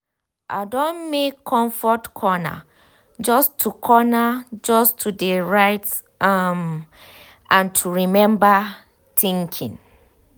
i don make comfort corner just to corner just to de write um and um to remember thinking.